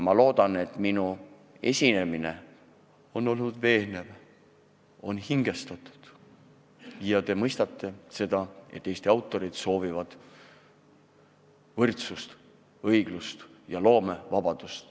Ma loodan, et minu esinemine on olnud veenev ja hingestatud ning te mõistate, et Eesti autorid soovivad võrdsust, õiglust ja loomevabadust.